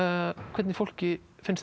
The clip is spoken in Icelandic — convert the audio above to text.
hvernig fólki finnst